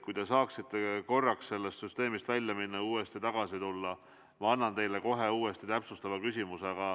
Kui te saaksite korraks sellest süsteemist välja minna ja uuesti tagasi tulla, ma annan teile kohe uuesti täpsustava küsimuse.